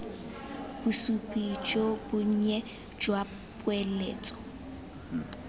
bosupi jo bonnye jwa poeletso